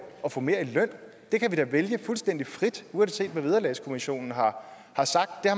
at få mere i løn det kan vi da vælge fuldstændig frit uanset hvad vederlagskommissionen har sagt